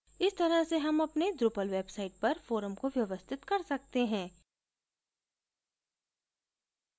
इस तरह से हम अपने drupal website पर forum को व्यवस्थित कर सकते हैं